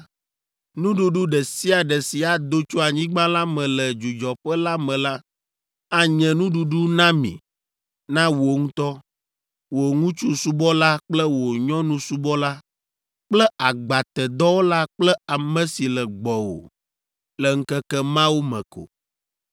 Nuɖuɖu ɖe sia ɖe si ado tso anyigba la me le dzudzɔƒe la me la, anye nuɖuɖu na mi, na wò ŋutɔ, wò ŋutsusubɔla kple wò nyɔnusubɔla kple agbatedɔwɔla kple ame si le gbɔwò le ŋkeke mawo me ko,